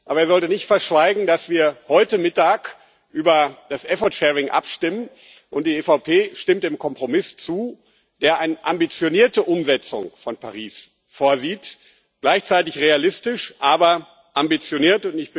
Aber er sollte nicht verschweigen, dass wir heute Mittag über das effort sharing abstimmen, und die EVP stimmt dem Kompromiss zu, der eine ambitionierte Umsetzung von Paris vorsieht gleichzeitig realistisch, aber ambitioniert.